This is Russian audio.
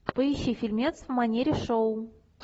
поищи фильмец в манере шоу